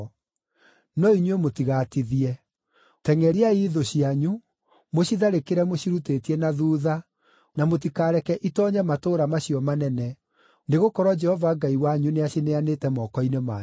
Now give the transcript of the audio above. No inyuĩ mũtigatithie. Tengʼeriai thũ cianyu, mũcitharĩkĩre mũcirutĩtie na thuutha, na mũtikareke itoonye matũũra macio manene, nĩgũkorwo Jehova Ngai wanyu nĩacineanĩte moko-inĩ manyu.”